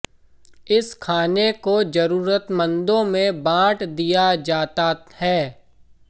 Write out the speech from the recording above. इस खाने को जरुरतमंदों में बाँट दिया जाता है